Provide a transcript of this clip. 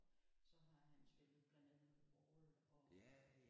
Så har han spillet blandt andet The Wall og